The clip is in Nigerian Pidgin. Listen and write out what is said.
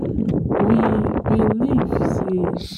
we believe sey cat bring fire to man after e don trick de forest gods